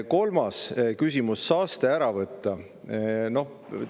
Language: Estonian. Kolmas küsimus: saaste tuleb välja võtta.